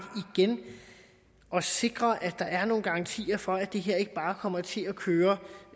at sikre at der er nogle garantier for at det her ikke bare kommer til at køre